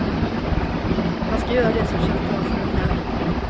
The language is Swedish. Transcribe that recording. Man ska göra det som känns bra för en själv.